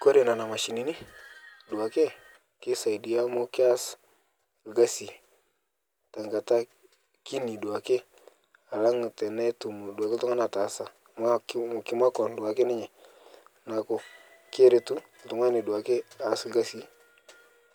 Kore nena mashini duake, keisaidi amu keas ilkasi tenkata kini duake alang tenetum duake iltunganak ataa amuu memakua duake ninye. Niaku keretu iltunganak duake aas ilkasi